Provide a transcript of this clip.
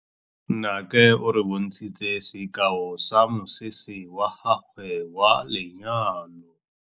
Nnake o re bontshitse sekaô sa mosese wa gagwe wa lenyalo.